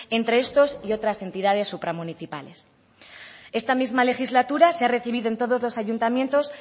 entre estos y otras entidades supramunicipales esta misma legislatura se ha recibido en todos los ayuntamientos